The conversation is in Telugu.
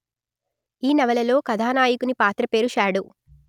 ఈ నవలలో కథానాయకుని పాత్ర పేరు షాడో